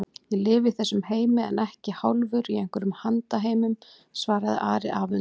Ég lifi í þessum heimi en ekki hálfur í einhverjum handan-heimum, svaraði Ari afundinn.